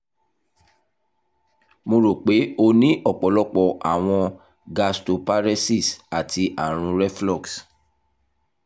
mo ro pe o ni ọpọlọpọ awọn gastroparesis ati arun reflux